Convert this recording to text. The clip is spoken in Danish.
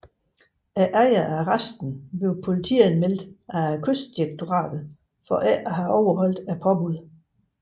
Ejerne af resten blev politianmeldt af Kystdirektoratet for ikke at have overholdt påbuddet